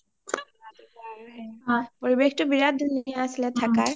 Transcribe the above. পৰিৱেশটো বিৰাত ধুনীয়া আছিলে থাকাৰ